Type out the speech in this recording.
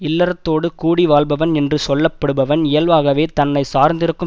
இல்லறத்தோடு கூடி வாழ்பவன் என்று சொல்லப்படுபவன் இயல்பாகவே தன்னை சார்ந்திருக்கும்